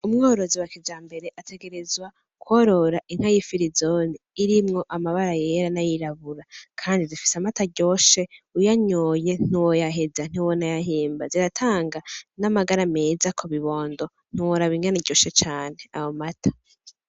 Umworozi wa kijambere ategerezwa korora inka y'ifirizone irimwo amabara yera nay'irabura , kandi zifise amata aryoshe , uyanyoye ntiwoyaheza ntiwonayahimba ziratanga n'amagara meza kubibondo ntiworaba ingene iryoshe cane ayo mata.